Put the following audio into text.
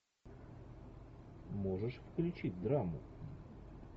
можешь включить драму